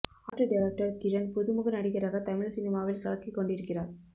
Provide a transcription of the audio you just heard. art director Kiran புது முக நடிகராக தமிழ் சினிமாவில் கலக்கிக்கொண்டிருக்கிறார்